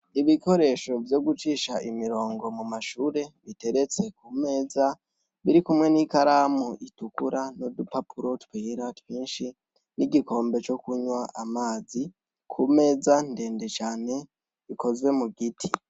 Ibikoresho vyo gucisha imirongo mu mashure biteretse ku meza, biri kumwe n'ikaramu itukura n'udupapuro twera twinshi n'igikombe co kunwa amazi ku meza ndende cane ikozwe mu giti.